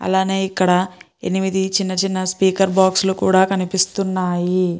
ఇక్కడ ఎనిమిది చిన్న చిన్న స్పీకర్ బాక్స్ లీ కూడా కన్పిస్తున్నాయి.